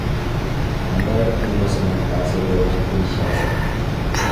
Mandoi eng kosomok kasi koweek Kinsasha